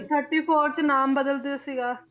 thirty four 'ਚ ਨਾਮ ਬਦਲ ਦਿੱਤਾ ਸੀਗਾ,